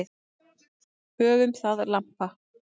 Höfum það lampa.